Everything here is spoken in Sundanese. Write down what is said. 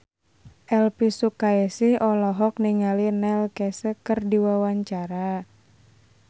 Elvi Sukaesih olohok ningali Neil Casey keur diwawancara